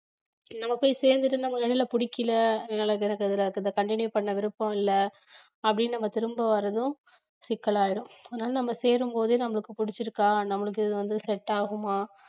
நம்ம போய் சேர்ந்துட்டு நமக்கு இடையில புடிக்கல அதனால எனக்கு அதுல continue பண்ண விருப்பம் இல்ல அப்படீன்னு நம்ம திரும்ப வர்றதும் சிக்கல் ஆயிரும் அதனால நம்ம சேரும் போதே நம்மளுக்கு புடிச்சிருக்கா நம்மளுக்கு இது வந்து set ஆகுமா